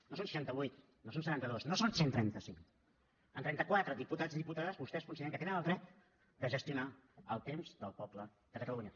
no són seixanta vuit no són setanta dos no són cent i trenta cinc amb trenta quatre diputats i diputades vostès consideren que tenen el dret de gestionar el temps del poble de catalunya